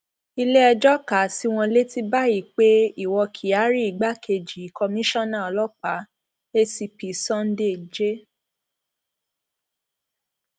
iléẹjọ kà á sí wọn létí báyìí pé iwọ kyari igbákejì kọmíṣánná ọlọpàá acp sunday j